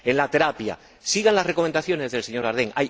En la terapia sigan las recomendaciones del señor Daerden.